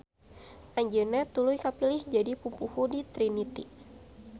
Anjeunna tuluy kapilih jadi pupuhu di Trinitty.